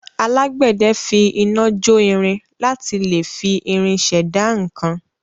Alágbẹ̀dẹ fi iná jo irin láti lẹ fi irin ṣẹ̀dá nǹkan.